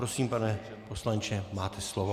Prosím, pane poslanče, máte slovo.